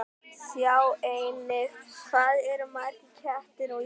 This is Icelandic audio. Sjá einnig: Hvað eru margir kettir á Íslandi?